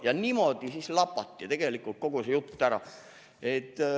Ja niimoodi siis lapati tegelikult kogu see jutt läbi.